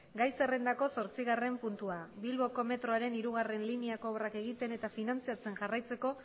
gai zerrendako zortzigarren puntua bilboko metroaren hirugarrena lineako obra egiten eta finantziatzen jarraitzeko